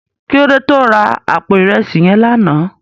Kilódé tó rá àpó irèsí yèn làná?